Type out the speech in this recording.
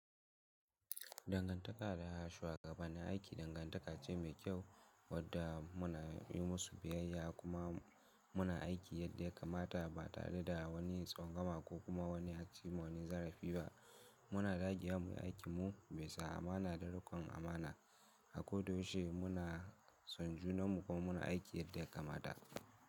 Dangantaka da shugaba na aiki dangantaka ce mai kyau, wadda muna yi musu biyayya kuma muna aiki yadda ya kamata ba tare da wani tsangwama kokuma aci wa wani zarafi ba Muna dagewa muyi aikinmu bisa amana da riƙon amana, a ko da yaushe muna son junanmu kuma muna aiki yadda ya kamata.